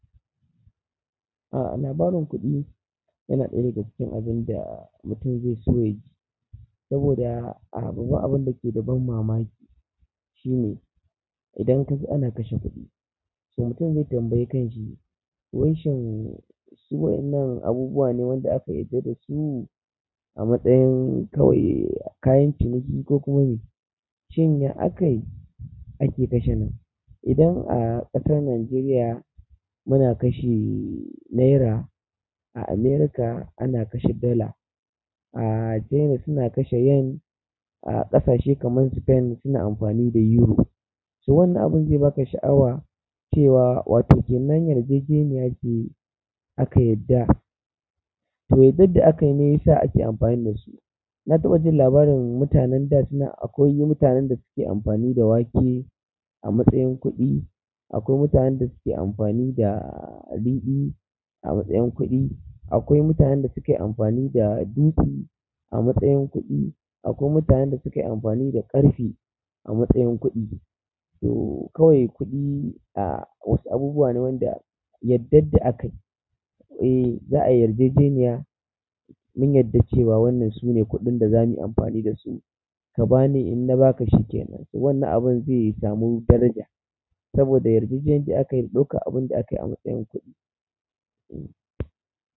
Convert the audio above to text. Ah labarin kuɗi yana ɗaya daga cikin abin da mutum zaice saboda abinda ke da ban mamaki shine idan kaji ana kashe kuɗi. So mutum zai tambayi kan shi wancan suwan nan abubuwa ne wanda aka yadda da su a matsayin kawai kayan ciniki ko kuma shine akayi ake kashe nan. Idan a ƙasar Najeriya muna kashe naira, a America ana kashe dola, a China suna kashe yan, a ƙasashe kaman Spain suna amfani da Euro. So wannan abun zai baka sha'awa cewa watoke nan yarjeje niya ne yake aka yadda. To yardan da akayi ne yasa ake amfani da su. Na taɓa jin labarin mutanen da suna akwai mutanen da suke amfani da wake a matsayin kuɗi, akwai mutanen da suke amfani da ridi a matsayin kuɗi, akwai mutanen da suke amfani da dutse a matsayin kuɗi, akwai mutanen da suke amfani da ƙarfe a matsayin kuɗi. So kawai kuɗi a wasu abubuwa ne wanda yardan da akayi. E, za'a yarjeje niya mun yarda cewa wannan sune kuɗin da za muyi amfani da su. Ka bani in na baka shi kenan. Wannan abun zai samu daraja saboda yarda yarda ake ɗauka abun da akayi a matsayin kuɗi. E.